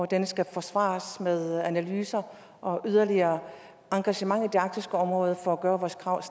den skal forsvares med analyser og yderligere engagement i det arktiske område for at gøre vores krav